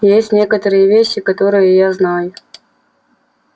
есть некоторые вещи которые я знаю